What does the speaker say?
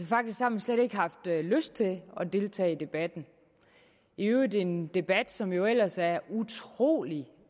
faktisk har man slet ikke haft lyst til at deltage i debatten i øvrigt en debat som jo ellers er utrolig